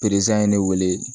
Pereze ye ne wele